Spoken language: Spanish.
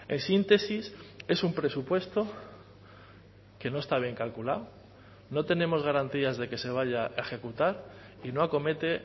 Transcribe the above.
en síntesis es un presupuesto que no está bien calculado no tenemos garantías de que se vaya a ejecutar y no acomete